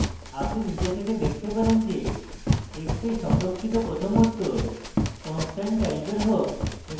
আপনি নিজে থেকে দেখতে পারেন যে x এ সংরক্ষিত প্রথম উত্তর constant টাইপের হোক এবং